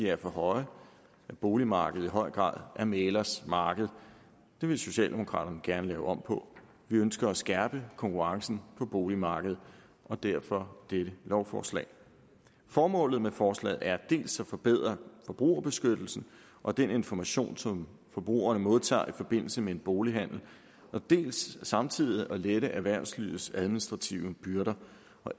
er for høje at boligmarkedet i høj grad er mæglers marked det vil socialdemokraterne gerne lave om på vi ønsker at skærpe konkurrencen på boligmarkedet og derfor dette lovforslag formålet med forslaget er dels at forbedre forbrugerbeskyttelsen og den information som forbrugerne modtager i forbindelse med en bolighandel dels samtidig at lette erhvervslivets administrative byrder